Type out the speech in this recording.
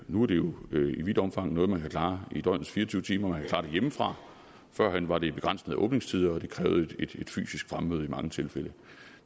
nu er det jo i vidt omfang noget man kan klare i døgnets fire og tyve timer man kan klare det hjemmefra førhen var det begrænset af åbningstider og det krævede et fysisk fremmøde i mange tilfælde